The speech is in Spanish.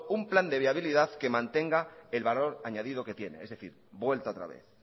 un plan de viabilidad que mantenga el valor añadido que tiene es decir vuelta otra vez